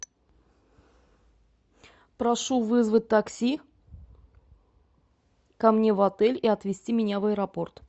прошу вызвать такси ко мне в отель и отвезти меня в аэропорт